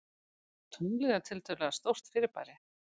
Tunglið er tiltölulega stórt fyrirbæri.